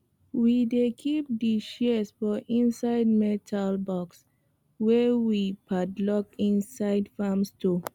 we dey keep di shears for inside metal box wey we padlock inside farm store